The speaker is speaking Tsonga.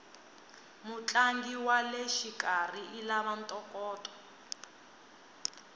mutlangi waleshikarhi ilava ntokoto